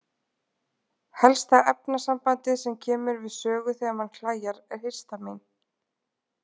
Helsta efnasambandið sem kemur við sögu þegar mann klæjar er histamín.